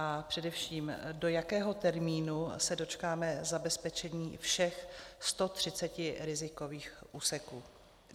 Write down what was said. A především, do jakého termínu se dočkáme zabezpečení všech 130 rizikových úseků?